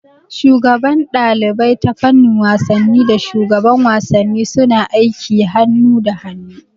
Shugaban ɗalibai ta fannin wasanni da shugaban wasanni suna aiki hanu da hanu